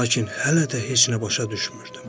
Lakin hələ də heç nə başa düşmürdüm.